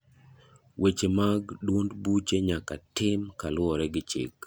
Weche mag duond buche nyaka tim kaluwore gi chik.